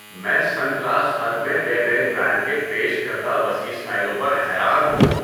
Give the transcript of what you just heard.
میں Sunglass Hut میں Ray-Ban brand کے پیش کردہ وسیع اسٹائلوں پر حیران ہوں۔